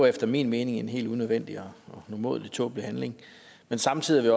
efter min mening en helt unødvendig og umådelig tåbelig handling men samtidig vil